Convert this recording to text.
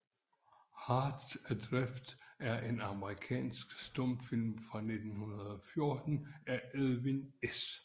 Hearts Adrift er en amerikansk stumfilm fra 1914 af Edwin S